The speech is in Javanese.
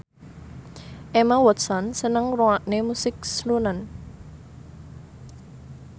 Emma Watson seneng ngrungokne musik srunen